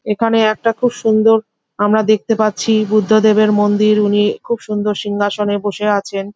এখানে একটা খুব সুন্দর আমরা দেখতে পারছি বুদ্ধদেবের মন্দির। উনি খুব সুন্দর সিংহাসনে বসে আছেন।